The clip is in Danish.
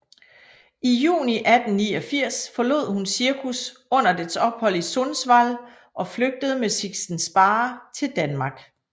I juni 1889 forlod hun cirkus under dets ophold i Sundsvall og flygtede med Sixten Sparre til Danmark